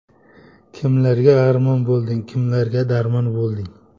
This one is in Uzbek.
Kimlarga armon bo‘lding, Kimlarga darmon bo‘lding.